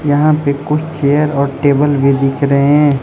यहां पे कुछ चेयर और टेबल भी दिख रहे हैं।